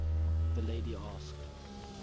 the lady asked